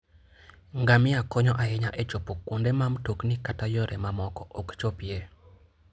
Ngamia konyo ahinya e chopo kuonde ma mtokni kata yore mamoko ok chopie.